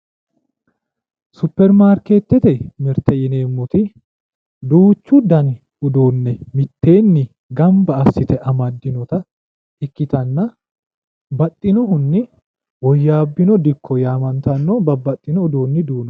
superimaarkeetete mirte yineemmoti duuchu dani uduunne mitteenni gamba assite amaddinota ikkitanna baxxinohunni woyyaabbino dikko yaamantanno babbaxino uduunni duuno.